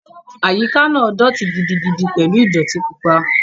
Àyíká náà dọ̀ọ̀tí gidigidi pẹ̀lú ìdọ̀ọ̀tí pupa